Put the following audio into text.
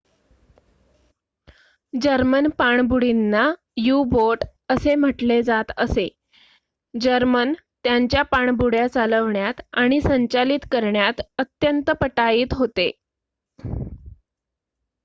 German पाणबुडींना U-boat असे म्हटले जात असे जर्मन त्यांच्या पाणबुड्या चालवण्यात आणि संचालित करण्यात अत्यंत पटाईत होते